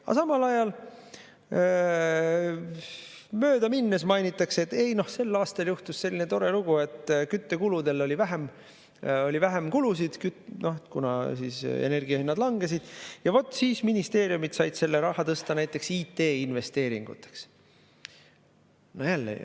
Aga samal ajal möödaminnes mainitakse, et ei, sel aastal juhtus selline tore lugu, et küttele oli vähem kulusid, kuna energiahinnad langesid, ja vot, siis ministeeriumid said selle raha tõsta näiteks IT‑investeeringuteks.